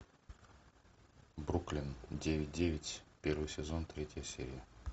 бруклин девять девять первый сезон третья серия